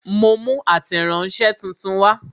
Mo mú ateranse tuntun wa